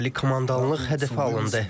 Ali komandanlıq hədəfə alındı.